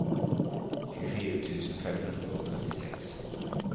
tjuefire tusen fem hundre og trettiseks